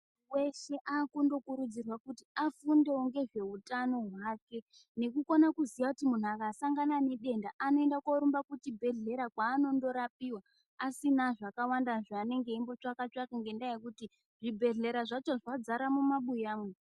Weshe akundokurudzirwa kuti afundowo ngezveutano hwako nekukone kuziya kuti munhu asangane nedenda anenda korumba kuchibhedhlera kwaanondorapiwa asina zvakawanda zvaanenge eimbotsvaka tsvaka ngendaa yekuti zvibhedhlera zvacho zvazara mumabuya mwo.